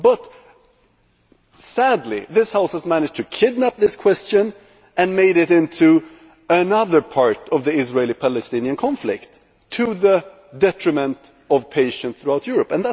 But sadly this House has managed to hijack this question and make it into another part of the Israeli Palestinian conflict to the detriment of patients throughout Europe.